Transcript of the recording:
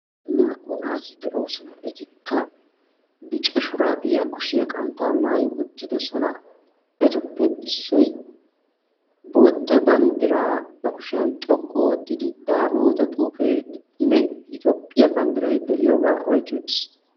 Naa"u naati de'oosona. Etikka bica shuraabiya kushiya qanttaa maayi uttidosona. Etuppe issoi bootta banddiraa ba kushiyan xoqqu oottidi daamoota xuufeenne Itoophphiya banddiray de'iyogaa oyqqi uttiis.